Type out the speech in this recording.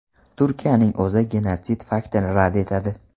Turkiyaning o‘zi genotsid faktini rad etadi.